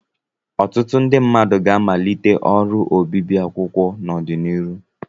Ọtụtụ ndị mmadụ ga-amalite ọrụ obibi akwụkwọ n'ọdịnihu.